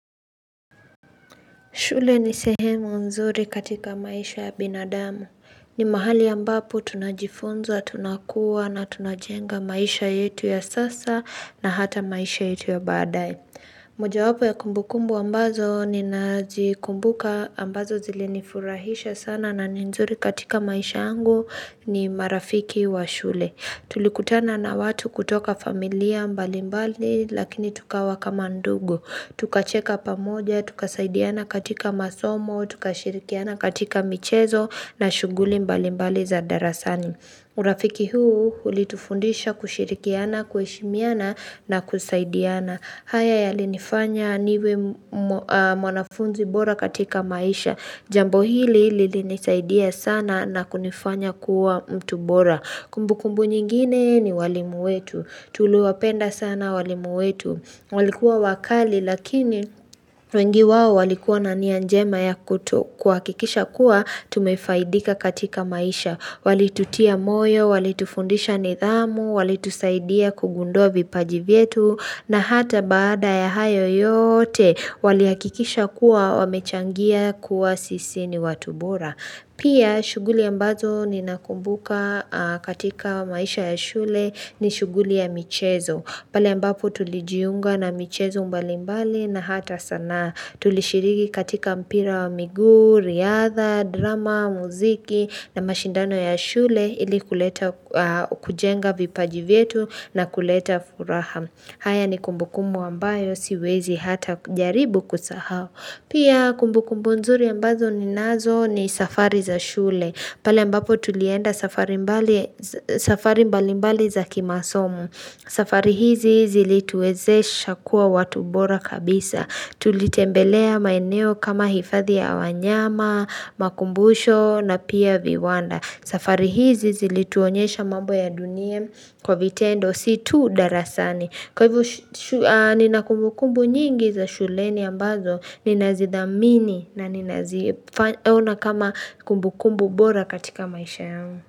Shule ni sehemu nzuri katika maisha ya binadamu. Ni mahali ambapo tunajifunza, tunakuwa na tunajenga maisha yetu ya sasa na hata maisha yetu ya baadae. Mojawapo ya kumbukumbu ambazo ninazikumbuka ambazo zilinifurahisha sana na ni nzuri katika maisha yangu ni marafiki wa shule. Tulikutana na watu kutoka familia mbalimbali lakini tukawa kama ndugu. Tukacheka pamoja, tukasaidiana katika masomo, tukashirikiana katika michezo na shughuli mbalimbali za darasani. Urafiki huu hulitufundisha kushirikiana, kueshimiana na kusaidiana. Haya yalinifanya niwe mwanafunzi bora katika maisha. Jambo hili lilinisaidia sana na kunifanya kuwa mtu bora. Kumbukumbu nyingine ni walimu wetu. Tuliwapenda sana walimu wetu. Walikuwa wakali lakini wengi wao walikuwa na nia njema ya kuto kuhakikisha kuwa tumefaidika katika maisha. Walitutia moyo, walitufundisha nidhamu, walitusaidia kugundua vipaji vyetu na hata baada ya hayo yoote walihakikisha kuwa wamechangia kuwa sisi ni watu bora. Pia shughuli ambazo ninakumbuka katika maisha ya shule ni shughuli ya michezo. Pala ambapo tulijiunga na michezo mbalimbali na hata sanaa tulishirigi katika mpira wa miguu, riadha, drama, muziki na mashindano ya shule ili kuleta kujenga vipaji vyetu na kuleta furaha. Haya ni kumbukumbu ambayo siwezi hata jaribu kusahao. Pia kumbukumbu nzuri ambazo ninazo ni safari za shule pale ambapo tulienda safari mbalimbali za kimasomu safari hizi zilituwezesha kuwa watu bora kabisa Tulitembelea maeneo kama hifadhi ya wanyama, makumbusho na pia viwanda safari hizi zilituonyesha mambo ya dunie kwa vitendo si tu darasani Kwa hivyo nina kumbukumbu nyingi za shuleni ambazo ninazidhamini na ninazifanya ninaziona kama kumbukumbu bora katika maisha yangu.